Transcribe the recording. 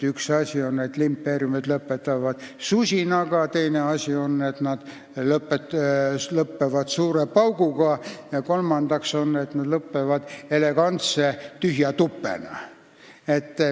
Üks võimalus on see, et impeeriumid lõpetavad susinaga, teine asi on see, et nad lõpetavad suure pauguga, ja kolmandaks lõpetavad nad elegantse tühja tupena.